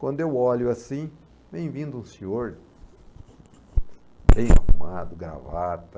Quando eu olho assim, vem vindo um senhor bem arrumado, gravata.